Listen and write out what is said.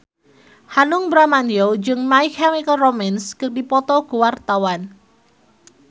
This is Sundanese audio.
Hanung Bramantyo jeung My Chemical Romance keur dipoto ku wartawan